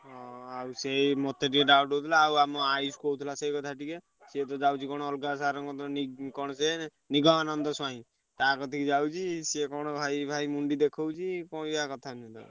ହଁ ଆଉ ସେଇ ମତେ ଟିକେ doubt ହଉଥିଲା ଆଉ ଆମ ଆୟୁଷ କହୁଥିଲା ସେଇ କଥା ଟିକେ ସିଏ ତ ଯାଉଛି କଣ ଅଲଗା sir ଙ୍କ କତିରେ ନି କଣ ସେ ନିଗମାନନ୍ଦ ସ୍ବାଇଁ। ତା କତିକି ଯାଉଛି ସିଏ କଣ ଭାଇ ଭାଇ ମୁଣ୍ଡି ଦେଖଉଛି କହିଆ କଥା